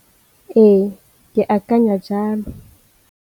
Ee, ke akanya jalo.